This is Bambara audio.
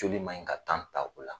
Joli man ɲi ka ta u la.